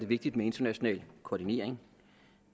vigtigt med international koordinering